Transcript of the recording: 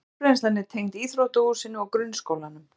Sorpbrennslan er tengd íþróttahúsinu og grunnskólanum